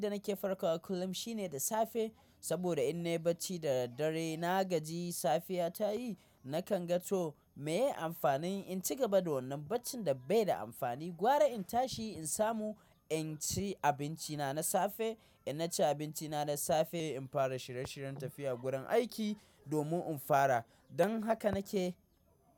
Abinda nake farkawa kullum shine da safe saboda in nayi bacci da daddare na gajiyi safiya tayi nakan ga to meye amfanin in ci gaba da wannan baccin da baida amfani gwara in tashi insamu in ci abinci na safe, in naci abinci na da safe in fara shirye shiryen tafiya gurin aiki domin in fara don haka nake.